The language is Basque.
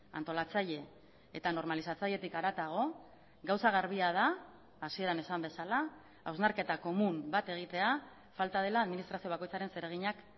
antolatzaile eta normalizatzailetik haratago gauza garbia da hasieran esan bezala hausnarketa komun bat egitea falta dela administrazio bakoitzaren zereginak